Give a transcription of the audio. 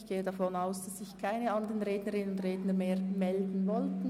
Ich gehe davon aus, dass sich keine weiteren Rednerinnen und Redner zu Wort melden wollen.